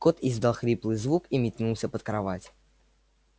кот издал хриплый звук и метнулся под кровать